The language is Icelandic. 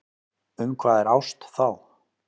Um hvað er ást þá?